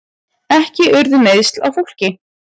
Ekki urðu meiðsl á fólki